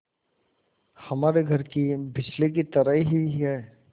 हमारे घर की बिजली की तरह ही है